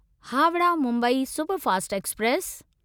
Howrah Mumbai superfast express